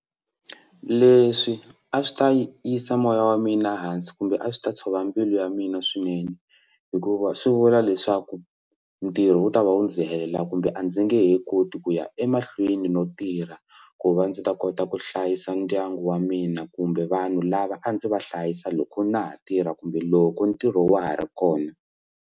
Leswi a swi ta yi yisa moya wa mina hansi kumbe a swi ta tshova mbilu ya mina swinene hikuva swi vula leswaku ntirho wu ta va u ndzi helela kumbe a ndzi nge he koti ku ya emahlweni no tirha ku va ndzi ta kota ku hlayisa ndyangu wa mina kumbe vanhu lava a ndzi va hlayisa loko na ha tirha kumbe loko ntirho wa ha ri kona.